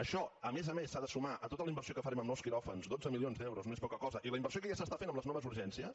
això a més a més s’ha de sumar a tota la inversió que farem en nous quiròfans dotze milions d’euros no és poca cosa i la inversió que ja s’està fent en les noves urgències